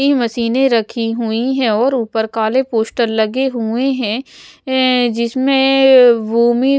ई मशीनें रखी हुई है और ऊपर काले पोस्टर लगे हुए हैं ऐऐ जिसमेंऐंऐं वूमि --